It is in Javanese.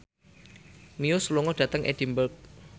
Muse lunga dhateng Edinburgh